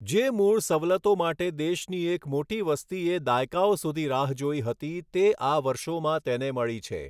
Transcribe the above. જે મૂળ સવલતો માટે દેશની એક મોટી વસતિએ દાયકાઓ સુધી રાહ જોઈ હતી તે આ વર્ષોમાં તેને મળી છે.